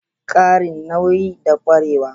Ƙarin nauyi da ƙwarewa.